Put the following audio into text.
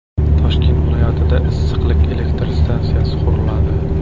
Toshkent viloyatida issiqlik elektr stansiyasi quriladi.